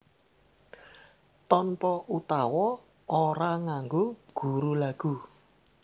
Tanpa utawa ora nganggo guru lagu